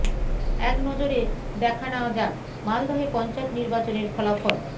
এক নজরে দেখা নেওয়া যাক মালদহে পঞ্চায়েত নির্বাচনের ফলাফল